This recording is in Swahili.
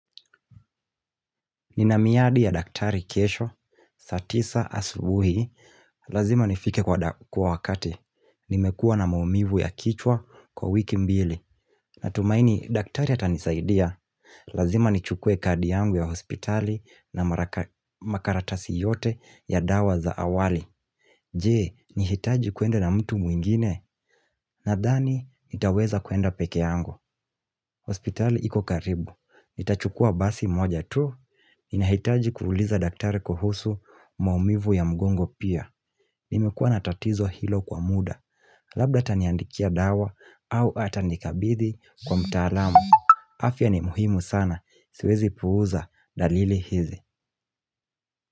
Ninamiadi ya daktari kesho, satisa asubuhi, lazima nifike kwa wakati, nimekua na maumivu ya kichwa kwa wiki mbili Natumaini, daktari atanisaidia, lazima nichukue kadi yangu ya hospitali na makaratasi yote ya dawa za awali Jee, nihitaji kuenda na mtu mwingine, nadhani, nitaweza kuenda peke yangu hospitali iko karibu. Nitachukua basi moja tu. Inahitaji kuuliza daktari kuhusu maumivu ya mgongo pia. Nimekuwa natatizo hilo kwa muda. Labda ataniandikia dawa au ata nikabidhi kwa mtaalamu. Afia ni muhimu sana. Siwezi puuza dalili hizi.